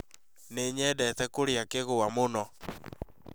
Nĩ nyendete kũrĩa kigwa mũno